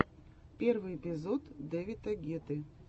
первый эпизод дэвида гетты